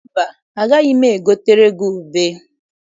Mba, agaghị m egotere gị ube.